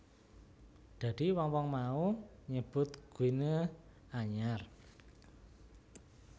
Dadi wong wong mau nyebut Guinea anyar